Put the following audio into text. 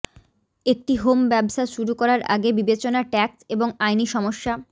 একটি হোম ব্যবসা শুরু করার আগে বিবেচনা ট্যাক্স এবং আইনি সমস্যা